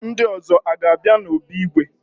Ndị ọzọ aga-abịa n'obi igwe?